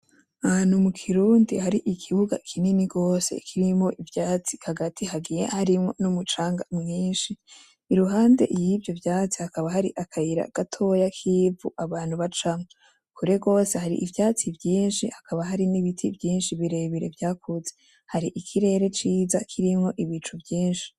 Ahantu mukirundi hari ikibuga kinini gose kirimwo ivyatsi hagati hagiye harimwo n'umucanga mwinshi, iruhande yivyo vyatsi hakaba hari akayira gatoya k'ivu abantu bacamwo, kure gose hari ivyatsi vyinshi hakaba hari n'ibiti vyinshi birebire vyakuze, hari ikirere ciza kirimwo ibicu vyinshi.